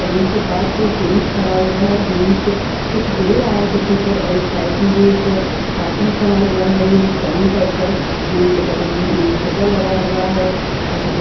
panel के पास कोई जेंट्स खड़ा हुआ है जेंट्स कुछ दे रहा है किसी को और एक साइड में भी एक आदमी खड़ा हुआ है ये एक बैंक के उपर छज्जा लगा हुआ है और छज्जे--